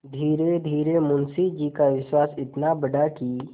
धीरेधीरे मुंशी जी का विश्वास इतना बढ़ा कि